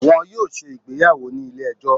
wọn yoo ṣe ìgbéyàwò ni ile-ẹjọ?